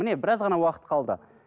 міне біраз ғана уақыт қалды